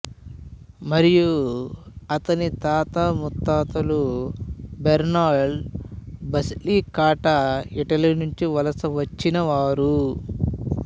మరియు అతని తాత ముత్తాతలు బెర్నాల్డ్ బసిలికాటా ఇటలీ నుండి వలస వచ్చినవారు